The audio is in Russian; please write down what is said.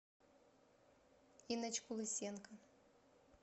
инночку лысенко